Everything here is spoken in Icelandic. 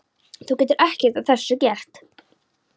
Þú getur ekkert að þessu gert.